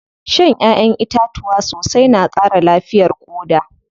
Shan ƴaʼƴen itatuwa sosai na ƙara lafiyar ƙoda.